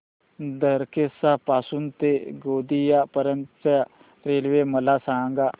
दरेकसा पासून ते गोंदिया पर्यंत च्या रेल्वे मला सांगा